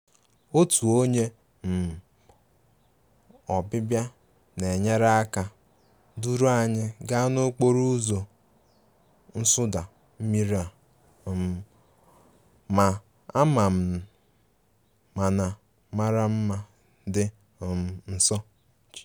Otu onye um ọbịbịa na-enyere aka duru anyị gaa n'okporo ụzọ nsụda mmiri a um ma ama mana mara mma dị um nso